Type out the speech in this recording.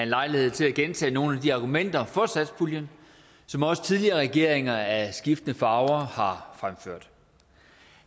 lejlighed til at gentage nogle af de argumenter for satspuljen som også tidligere regeringer af skiftende farver har fremført